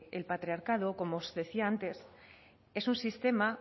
el patriarcado como os decía antes es un sistema